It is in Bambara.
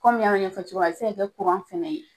Kɔmin n y'a ɲɛfɔ cogo min na a be se ka kɛ kuran fɛnɛ ye